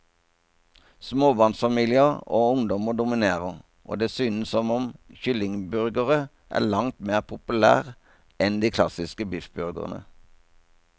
Småbarnsfamilier og ungdommer dominerer, og det synes som om kyllingburgere er langt mer populær enn de klassiske biffburgerne.